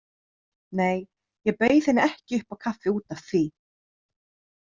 Nei, ég bauð henni ekki upp á kaffi út af því.